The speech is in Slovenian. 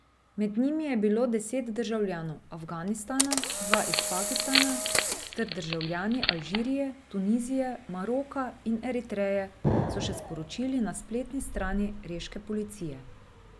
Med njimi je bilo deset državljanov Afganistana, dva iz Pakistana ter državljani Alžirije, Tunizije, Maroka in Eritreje, so še sporočili na spletni strani reške policije.